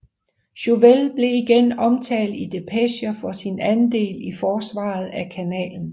Chauvel blev igen omtalt i depecher for sin andel i forsvaret af kanalen